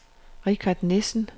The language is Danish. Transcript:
Richard Nissen